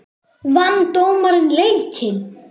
Vann dómarinn leikinn?